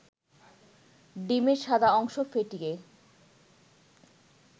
ডিমের সাদা অংশ ফেটিয়ে